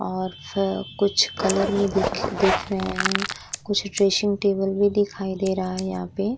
और फ कुछ कलर में दिख दिख रहा है। कुछ ड्रेसिंग टेबल भी दिखाइ दे रहा है यहाँ पे।